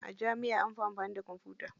A jami'a anfi amfani da kwamfuta.